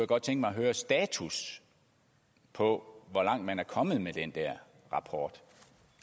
godt tænke mig at høre status på hvor langt man er kommet med den der rapport